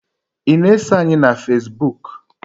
I na-eso anyị na fazebuk?